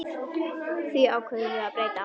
Því ákváðum við að breyta.